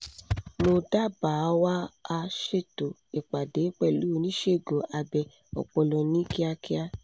mo dábàáwà á ṣètò ìpàdé pẹ̀lú oníṣẹ́ abẹ ọpọlọ ní kíákíá